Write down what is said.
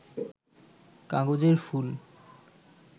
কাগজের ফুল